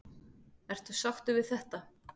Ertu sáttur við þetta?